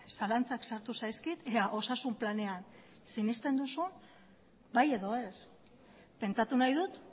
zalantzak sartu zaizkit ea osasun planean sinesten duzun bai edo ez pentsatu nahi dut